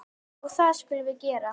Og það skulum við gera.